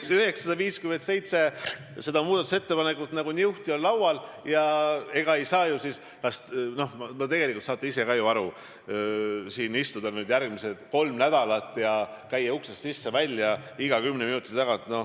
Need 957 muudatusettepanekut on nagu niuhti laual ja tegelikult te saate ise ka aru, et me ei saa siin istuda järgmised kolm nädalat ja käia uksest sisse-välja iga kümne minuti tagant.